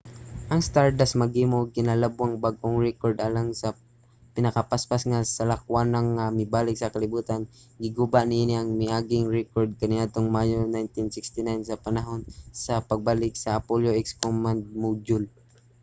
ang stardust maghimo og kinalabwang bag-ong rekord alang sa pinakapaspas nga salakwanang nga mibalik sa kalibutan giguba niini ang miaging rekord kaniadtong mayo 1969 sa panahon sa pagbalik sa apollo x command module